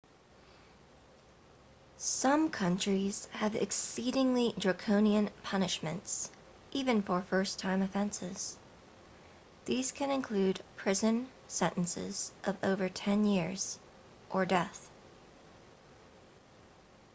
some countries have exceedingly draconian punishments even for first time offenses these can include prison sentences of over 10 years or death